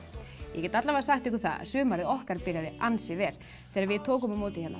ég get sagt ykkur það að sumarið okkar byrjaði ansi vel þegar við tókum á móti